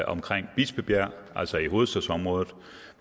omkring bispebjerg altså i hovedstadsområdet